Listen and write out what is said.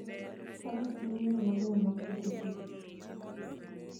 Faras gin yore mabeyo mag wuoth e thim.